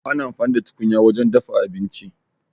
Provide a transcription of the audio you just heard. Ana amfani da tukunya wajen dafa abinci.